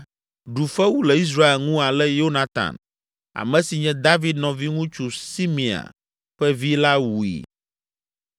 ɖu fewu le Israel ŋu ale Yonatan, ame si nye, David nɔviŋutsu Simea ƒe vi la wui.